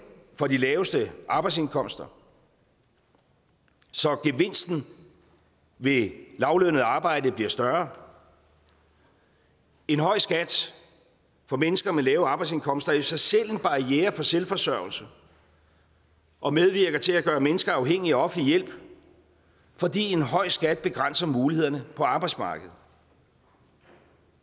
for de laveste arbejdsindkomster så gevinsten ved lavtlønnet arbejde bliver større en høj skat for mennesker med lave arbejdsindkomster i sig selv en barriere for selvforsørgelse og medvirker til at gøre mennesker afhængige af offentlig hjælp fordi en høj skat begrænser mulighederne på arbejdsmarkedet